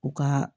U ka